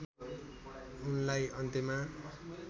उनलाई अन्त्यमा